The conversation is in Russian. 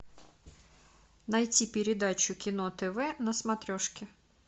найти передачу кино тв на смотрешке